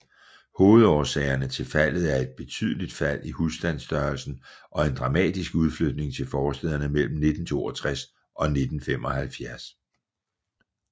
Hovedårsagerne til faldet er et betydeligt fald i husstandsstørrelsen og en dramatisk udflytning til forstæderne mellem 1962 og 1975